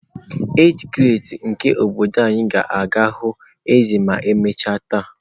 Age grades nke obodo anyị ga-aga hụ eze ma emechaa taa